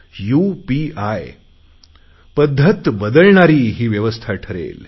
UPI पध्दत बदलणारी ही व्यवस्था ठरेल